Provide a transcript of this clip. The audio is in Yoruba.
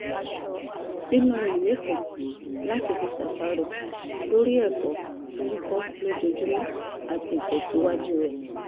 sínú ìwé kan láti fi ṣàṣàrò lórí ẹ̀kọ́ tó ń kọ́ lójoojúmọ́ àti ìtẹ̀síwájú rẹ̀